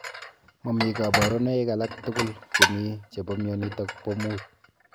Mamii kabarunoik alak tugul chemii chebo mionitok poo muut.